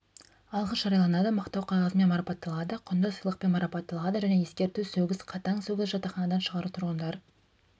алғыс жарияланады мақтау қағазымен марапатталады құнды сыйлықпен марапатталады және ескерту сөгіс қатаң сөгіс жатақханадан шығару тұрғындар